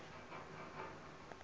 rub al khali